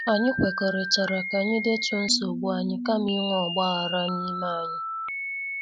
Anyị kwekọrịtara ka anyị detuo nsogbu anyị kama inwe ogbaghara n' ime anyị.